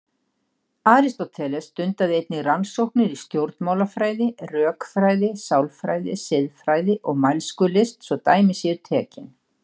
Aristóteles stundaði einnig rannsóknir í stjórnmálafræði, rökfræði, sálfræði, siðfræði og mælskulist svo dæmi séu tekin.